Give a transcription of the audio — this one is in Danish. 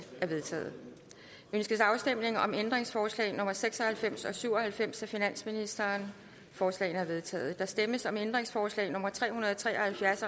er vedtaget ønskes afstemning om ændringsforslag nummer seks og halvfems og syv og halvfems af finansministeren forslagene er vedtaget der stemmes om ændringsforslag nummer tre hundrede og tre og halvfjerds